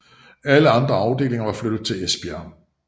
Alle andre afdelinger var flyttet til Esbjerg